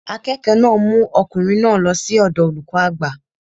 Akẹ́kọ̀ọ́ náà mú ọkùnrin náà lọ sí ọ̀dọọ olùkọ́ àgbà